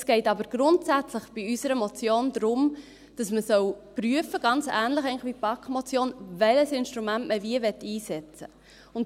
Es geht aber bei unserer Motion grundsätzlich darum, dass man prüfen soll – ganz ähnlich wie bei der BaK-Motion –, welches Instrument man wie einsetzen möchte.